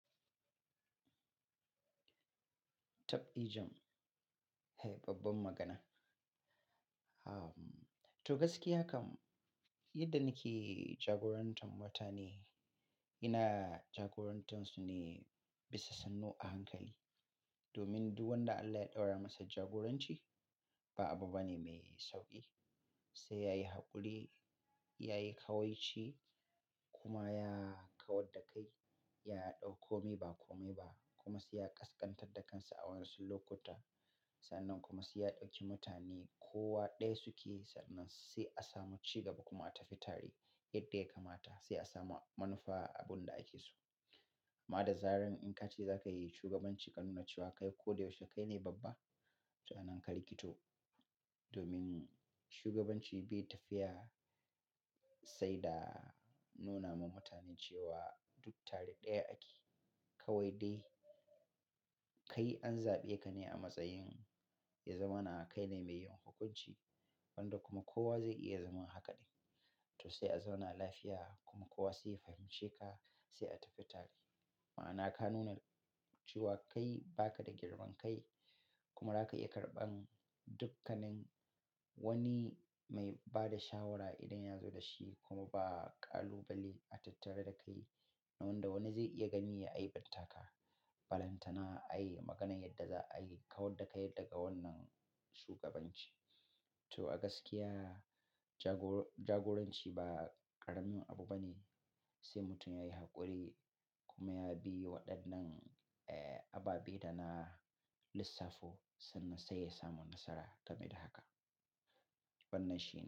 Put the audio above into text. Tabdijam, he babban magana. To gaskiya kam, yadda nake jagorantar mutane, ina jagorantarsu ne bisa sannu a hankali. Domin duk wanda Allah ya ɗaura masa jagoranci ba abu bane mai sauƙi. Sai yayi haƙuri, yayi ƙawaici kuma ya kawar da kai, ya ɗau komi ba kome ba kuma sai ya ƙasƙantar da kansa a wasu lokuta. Sannan kuma sai ya ɗauki mutane kowa ɗaya suke sannan sai a samu cigaba kuma a tafi tare yadda ya kamata sai a samu manufa abun da ake so. Amma da zaran in ka ce za ka yi shugabanci ka nuna cewa kai ko da yaushe kai ne babba, to anan ka rikito. Domin shugabanci bai tafiya sai da nuna ma mutane cewa duk tare ɗaya ake. Kawai dai kai an zaɓe ka ne a matsayin ya zama na kai ne mai yin hukuunci, wanda kuma kowa zai iya zama hakaɗi. To sai a zauna lafiya kuma kowa sai ya fahimci ka sai a tafi tare. Ma'ana ka nuna cewa kai ba ka da girman kai kuma za ka iya karɓan dukkanin wani mai ba da shawara idan ya zo da shi kuma ba kalubale a tattare da kai. Wanda wani zai iya gani ya aiɓantaka, balantana, ai maganan yadda za a yi, kawar da kai yadda ga wannan shugabanci. To a gaskiya jagora-jagoranci ba ƙarami abu bane sai mutum yayi haƙuri kuma ya bi waɗannan,, abaɓai da na lissafo sannan sai ya samu nasara game da haka. Bannashi.